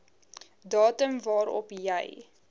datum waarop jy